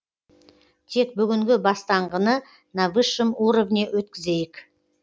тек бүгінгі бастаңғыны на высшем уровне өткізейік